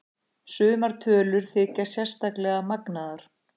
Sumar tölur þykja sérstaklega magnaðar.